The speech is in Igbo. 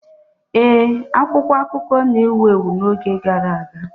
Ee, akwụkwọ akụkọ na-ewu ewu n'oge gara aga.